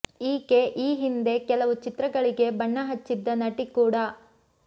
ಈಕೆ ಈ ಹಿಂದೆ ಕೆಲವು ಚಿತ್ರಗಳಿಗೆ ಬಣ್ಣ ಹಚ್ಚಿದ್ದ ನಟಿ ಕೂಡ